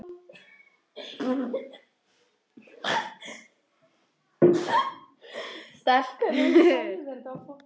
Eiríkur Jónsson: ætlarðu að reikna þetta í huganum?